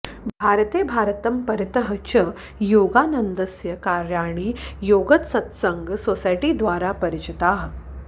भारते भारतं परितः च योगानन्दस्य कार्याणि योगदसत्सङ्गसोसैटिद्वारा परिचिताः